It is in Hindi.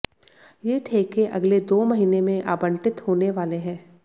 ये ठेके अगले दो महीने में आबंटित होने वाले हैं